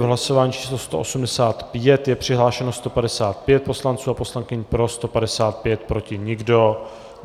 V hlasování číslo 185 je přihlášeno 155 poslanců a poslankyň, pro 155, proti nikdo.